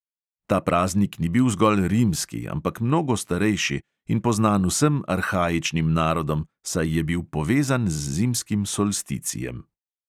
Ta praznik ni bil zgolj rimski, ampak mnogo starejši in poznan vsem arhaičnim narodom, saj je bil povezan z zimskim solsticijem.